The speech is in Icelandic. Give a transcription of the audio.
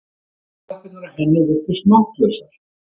Afturlappirnar á henni virtust máttlausar.